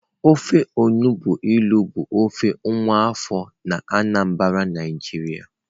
Ofe onugbụ ilu bụ ofe nwa afọ na Anambra Naijiria